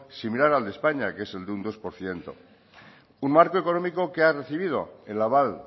sin mirar al de españa que es el de un dos por ciento un marco económico que ha recibido el aval